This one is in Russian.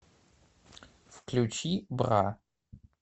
включи бра